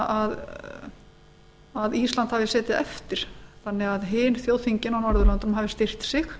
þannig að ísland hafi setið eftir þannig að hin þjóðþingin á norðurlöndunum hafi styrkt sig